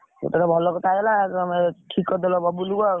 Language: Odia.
ଭଲ କଥା ହେଇଗଲା, ଠିକ୍ କରିଦେଲ ବବୁଲ୍କୁ ଆଉ।